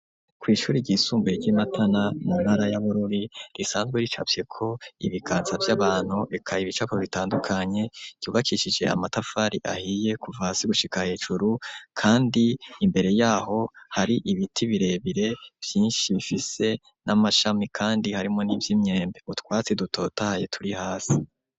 Kw'ishure ry'isumbuye ry'i Matana mu ntara ya Bururi risanzwe ricafyeko ibiganza vy'abantu eka ibicapo bitandukanye, eyubakishije amatafari ahiye kuva hasi gushika hejuru kandi imbere yaho hari ibiti birebire vyinshi bifise n'amashami kandi harimwo n'ivy'imyembe. Utwatsi dutotahaye turi hasi.